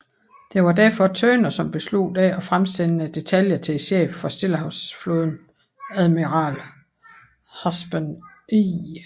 Det var derfor Turner som besluttede ikke at fremsende detaljer til chefen for Stillehavsflåden admiral Husband E